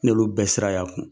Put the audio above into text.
N y'olu bɛ sira y'a kun.